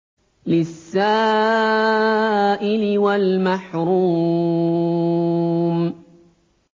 لِّلسَّائِلِ وَالْمَحْرُومِ